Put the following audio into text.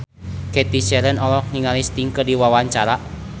Cathy Sharon olohok ningali Sting keur diwawancara